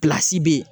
bɛ yen